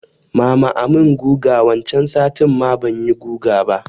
Mama a mun guga wancan satin ma banyi guga ba